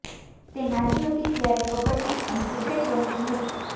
તે નાની હતી ત્યારે કબડ્ડી અને ક્રિકેટ રમતી હતી